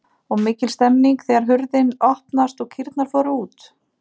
Og mikil stemning þegar hurðin opnaðist og kýrnar fóru út?